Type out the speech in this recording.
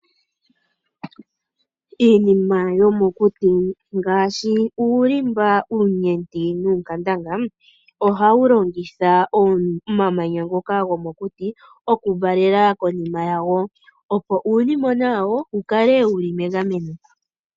Iinima yomokuti ngaashi uulimba, uunyenti, nuunkandanga, ohawu longitha omamanya ngoka gomokuti, okuvalela konima yago, opo uunimona wawo wukale wu li megameno.